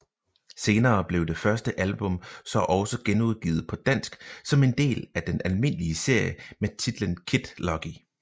Senere blev det første album så også genudgivet dansk som en del af den almindelige serie med titlen Kid Lucky